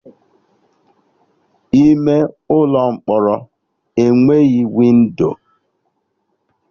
Ime ụlọ mkpọrọ enweghị windo